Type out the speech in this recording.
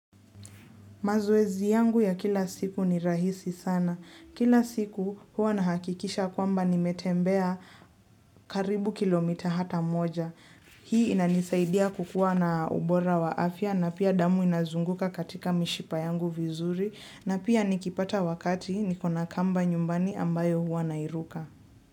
Mazoezi yangu ya kila siku ni rahisi sana. Kila siku hua nahakikisha kwamba nimetembea karibu kilomita hata moja. Hii inanisaidia kukua na ubora wa afya na pia damu inazunguka katika mishipa yangu vizuri, na pia nikipata wakati nikona kamba nyumbani ambayo hua nairuka.